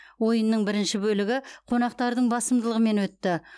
ойынның бірінші бөлігі қонақтардың басымдылығымен өтті